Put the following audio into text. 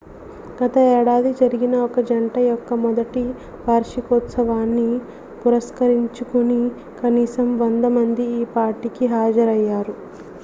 గత ఏడాది జరిగిన ఒక జంట యొక్క మొదటి వార్షికోత్సవాన్ని పురస్కరించుకుని కనీసం 100 మంది ఈ పార్టీకి హాజరయ్యారు